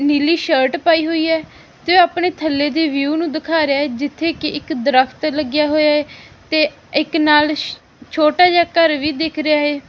ਨੀਲੀ shirt ਪਈ ਹੋਈ ਆ ਜੋ ਆਪਣੇ ਥੱਲੇ ਤੇ ਵਿਊ ਨੂੰ ਦਿਖਾ ਰਿਹਾ ਜਿੱਥੇ ਕਿ ਇੱਕ ਦਰਖਤ ਲੱਗਿਆ ਹੋਇਆ ਹੈ ਤੇ ਇੱਕ ਨਾਲ ਛੋਟਾ ਜਿਹਾ ਘਰ ਵੀ ਦਿਖ ਰਿਹਾ ਏ।